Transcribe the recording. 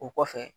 O kɔfɛ